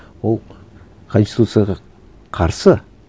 ол конституцияға қарсы